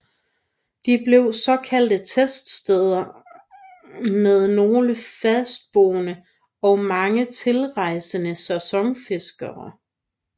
De blev såkaldte tettsteder med nogen fastboende og mange tilrejsende sæsonfiskere